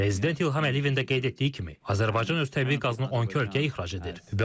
Prezident İlham Əliyevin də qeyd etdiyi kimi, Azərbaycan öz təbii qazını 12 ölkəyə ixrac edir.